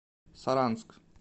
саранск